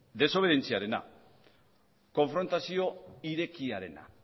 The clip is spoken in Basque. desobedientziarena konfrontazio irekiarena